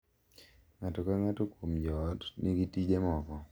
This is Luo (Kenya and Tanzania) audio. Ng’ato ka ng’ato kuom joot nigi tije moko,